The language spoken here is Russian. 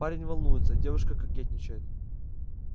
парень волнуется девушка кокетничает